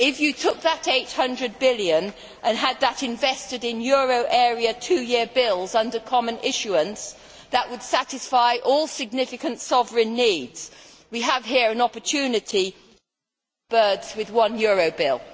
If you took that EUR 800 billion and had that invested in euro area two year bills under common issuance, that would satisfy all significant sovereign needs. We have here an opportunity to kill two birds with one euro bill.